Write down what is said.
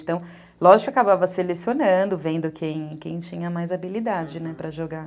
Então, lógico que acabava selecionando, vendo quem quem tinha mais habilidade para jogar.